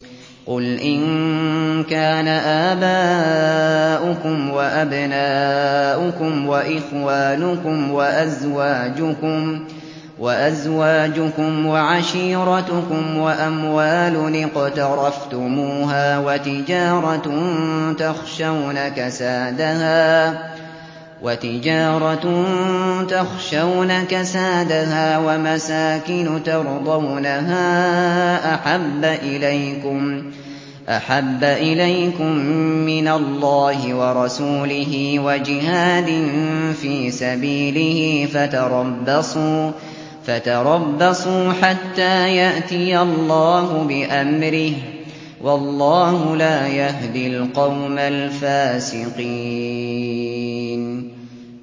قُلْ إِن كَانَ آبَاؤُكُمْ وَأَبْنَاؤُكُمْ وَإِخْوَانُكُمْ وَأَزْوَاجُكُمْ وَعَشِيرَتُكُمْ وَأَمْوَالٌ اقْتَرَفْتُمُوهَا وَتِجَارَةٌ تَخْشَوْنَ كَسَادَهَا وَمَسَاكِنُ تَرْضَوْنَهَا أَحَبَّ إِلَيْكُم مِّنَ اللَّهِ وَرَسُولِهِ وَجِهَادٍ فِي سَبِيلِهِ فَتَرَبَّصُوا حَتَّىٰ يَأْتِيَ اللَّهُ بِأَمْرِهِ ۗ وَاللَّهُ لَا يَهْدِي الْقَوْمَ الْفَاسِقِينَ